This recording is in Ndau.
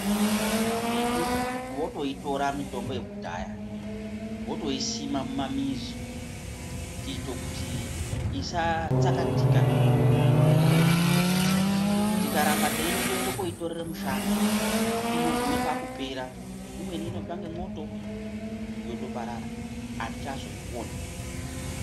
Vamweni votoitora mitombo yekudhaya, votoisima mumamizi kuito kuti isatsakatika mitombo yekudhaya. Tikaramba teindoenda koitorera mushango inogume pakupera. Imweni inotsva ngemoto yotoparara, atichazoioni.